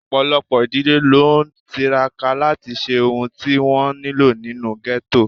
Ọ̀pọ̀lọpọ̀ ìdílé ló ń tiraka láti ṣe ohun tí wọ́n nílò nínú ghetto